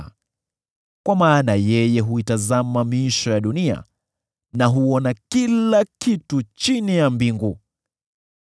kwa maana yeye huitazama miisho ya dunia na huona kila kitu chini ya mbingu.